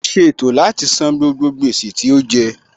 Ó ṣe ètò láti san gbogbo gbèsè tí ó jẹ